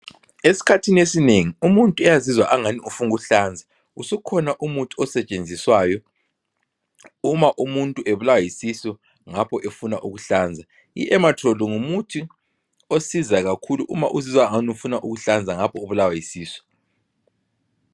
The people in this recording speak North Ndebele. Eskhathini esinengi umuntu uyazizwa angan ufuna ukuhlanza. Usukhona umuthi osetshenziswayo uma umuntu ebulawa yisisu ngapho efuna ukuhlanza. I-Ematrol ngumuthi osizayo kakhulu uma uzizwa angani ufuna ukuhlanza ngapho ubulawa yisisu.